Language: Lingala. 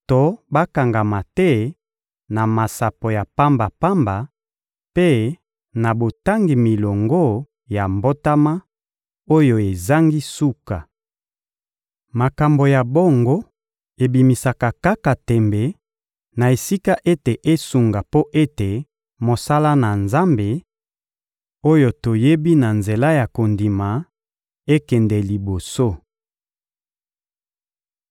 to bakangama te na masapo ya pamba-pamba mpe na botangi milongo ya mbotama, oyo ezangi suka. Makambo ya bongo ebimisaka kaka tembe, na esika ete esunga mpo ete mosala na Nzambe, oyo toyebi na nzela ya kondima, ekende liboso.